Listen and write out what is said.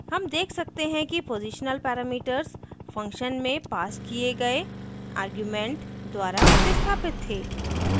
हम देख सकते हैं कि positional parameters function में passed किए गए arguments द्वारा प्रतिस्थापित थे